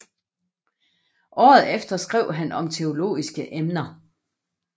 Året efter skrev han om teologiske emner